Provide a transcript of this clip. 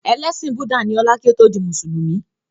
Ẹlẹ́sìn búdà ní ọlá kí ó tó di mùsùlùmí